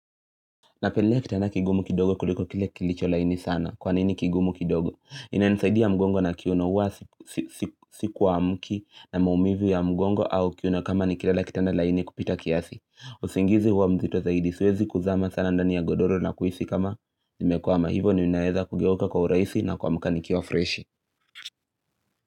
Napendelea kitana kigumu kidogo kuliko kile kilicho laini sana. Kwa nini kigumu kidogo? Inanisaidia mgongo na kiuno uwa sikwa mki na maumivu ya mgongo au kiuno kama nikilala kitana laini kupita kiasi. Usingizi huwa mzito zaidi. Siwezi kuzama sana ndani ya godoro na kuhisi kama nimekwama hivo ninaweza kugeuka kwa uraisi na kuamka nikiwa freshi.